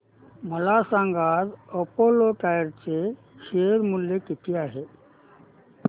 मला सांगा आज अपोलो टायर्स चे शेअर मूल्य किती आहे